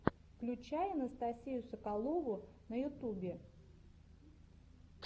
включай анастасию соколову на ютубе